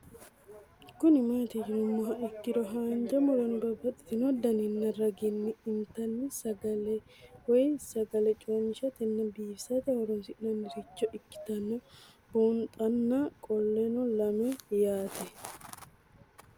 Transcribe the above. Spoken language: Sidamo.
Kuni mati yinumoha ikiro hanja muroni babaxino daninina ragini intani sagale woyi sagali comishatenna bifisate horonsine'morich ikinota bunxana qoleno lame yaate?